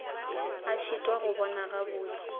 a šitwa go bona gabotse